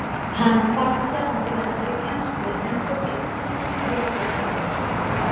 Hann kvaldi sjálfan sig með þessari kennslu en þótti útsýnið réttlæta þjáningarnar.